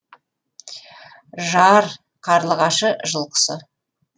жар қарлығашы жыл құсы